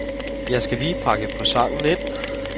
Jeg skal lige pakke presenten ind.